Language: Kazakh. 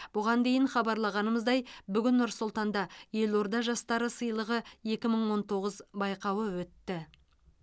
бұған дейін хабарлағанымыздай бүгін нұр сұлтанда елорда жастары сыйлығы екі мың он тоғыз байқауы өтті